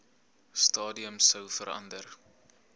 stadium sou verander